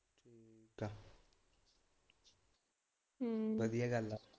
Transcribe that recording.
ਹਮ ਵਧੀਆਂ ਗੱਲ ਆ।